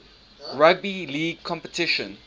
rugby league competition